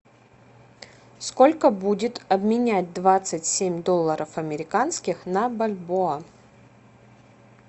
сколько будет обменять двадцать семь долларов американских на бальбоа